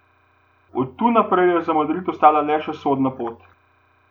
Od tu naprej je za Madrid ostala le še sodna pot.